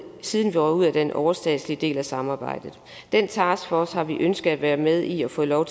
siden vi røg ud af den overstatslige del af samarbejdet den taskforce har vi ønsket at være med i og fået lov